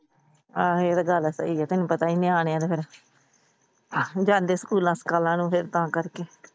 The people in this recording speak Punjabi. ਆਹੋ ਇਹ ਤਾਂ ਗੱਲ ਸਹੀ ਏ ਤੈਨੂੰ ਪਤਾ ਏ ਨਿਆਣਿਆਂ ਦਾ ਫਿਰ ਜਾਂਦੇ ਸਕੂਲਾਂ ਸਕਾਲਾਂ ਨੂੰ ਤਾਂ ਕਰਕੇ।